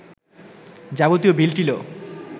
যাবতীয় বিল-টিলও